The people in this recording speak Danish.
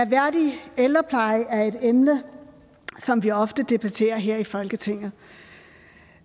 værdig ældrepleje er et emne som vi ofte debatterer her i folketinget